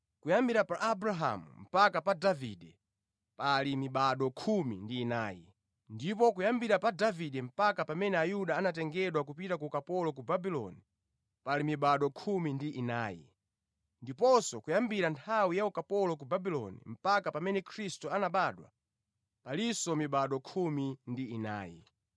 Kuyambira pa Abrahamu mpaka pa Davide, pali mibado khumi ndi inayi. Ndipo kuyambira pa Davide mpaka pamene Ayuda anatengedwa kupita ku ukapolo ku Babuloni, pali mibado khumi ndi inayi. Ndiponso kuyambira nthawi ya ukapolo ku Babuloni mpaka pamene Khristu anabadwa, palinso mibado khumi ndi inayi.